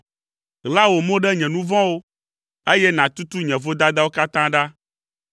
Ɣla wò mo ɖe nye nu vɔ̃wo, eye nàtutu nye vodadawo katã ɖa.